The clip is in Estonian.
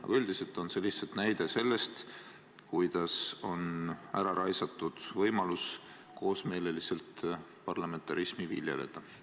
Aga üldiselt on see lihtsalt näide sellest, kuidas on ära raisatud võimalus koosmeelselt parlamentarismi viljeleda.